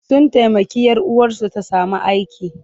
Sun taimaki 'yar uwarsu ta sami aiki.